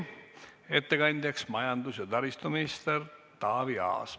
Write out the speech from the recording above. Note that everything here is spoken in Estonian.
Ettekandja on majandus- ja taristuminister Taavi Aas.